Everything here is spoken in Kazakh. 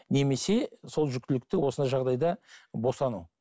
немесе сол жүктілікті осындай жағдайда босану